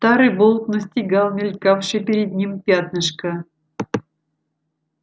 старый волк настигал мелькавшее перед ним пятнышко